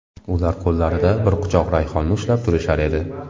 Ular qo‘llarida bir quchoq rayhonni ushlab turishar edi.